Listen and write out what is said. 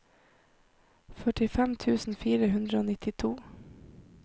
førtifem tusen fire hundre og nittito